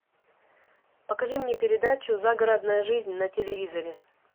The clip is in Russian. покажи мне передачу загородная жизнь на телевизоре